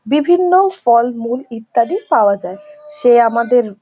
বিভিন্ন ফলমূল ইত্যাদি পাওয়া যায়। সে আমাদের--